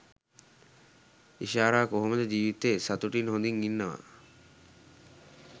ඉෂාරා කොහොමද ජීවිතේ සතුටින් හොඳින් ඉන්නවා